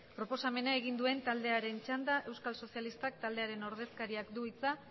proposamena egin duen taldearen txanda euskal sozialistak taldearen ordezkariak du hitza